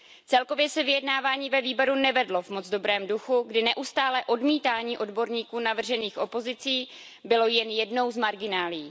Celkově se vyjednávání ve výboru nevedlo v moc dobrém duchu, kdy neustálé odmítání odborníků navržených opozicí bylo jen jednou z marginálií.